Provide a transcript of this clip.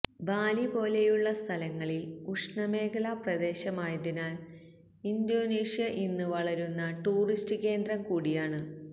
ബാലി പോലെയുള്ള സ്ഥലങ്ങളിൽ ഉഷ്ണമേഖലാ പ്രദേശമായതിനാൽ ഇന്തോനേഷ്യ ഇന്ന് വളരുന്ന ടൂറിസ്റ്റ് കേന്ദ്രം കൂടിയാണ്